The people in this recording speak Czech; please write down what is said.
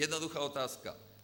Jednoduchá otázka.